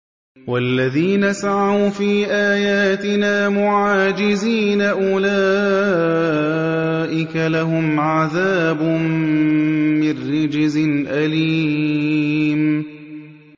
وَالَّذِينَ سَعَوْا فِي آيَاتِنَا مُعَاجِزِينَ أُولَٰئِكَ لَهُمْ عَذَابٌ مِّن رِّجْزٍ أَلِيمٌ